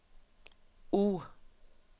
O